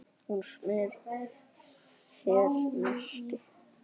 Hún smyr sér nesti.